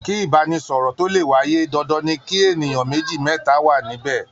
Kí ìbánisọ̀rọ̀ tó le wáyé, dandan ni kí ènìyàn méjì, mẹ́ta wà níbẹ̀.